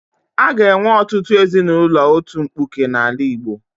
A ga-enwe ọtụtụ ezinaụlọ otu mkpuke n'ala Igbo.